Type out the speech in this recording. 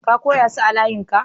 Ka koya su layin ka?